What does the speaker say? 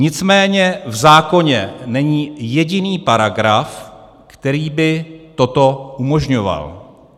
Nicméně v zákoně není jediný paragraf, který by toto umožňoval.